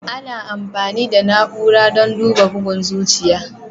Ana amfani da na'ura don duba bugun zuciya.